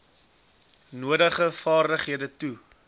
nodige vaardighede toe